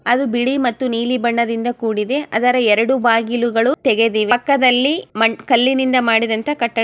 ಅಲ್ಲಿ ಬಿಳಿ ಮತ್ತು ನೀಲಿ ಬಣ್ಣದಿಂದ ಕೂಡಿದೆ ಅದರ ಎರೆಡು ಬಾಗಿಲುಗಳು ತೆಗೆದಿವೆ. ಪಕ್ಕದಲ್ಲಿ ಕಲ್ಲಿನಿಂದ ಮಾಡಿದ ಕಟ್ಟ --